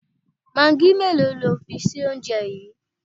Magí mélòó ni o fi sí oúnje yi?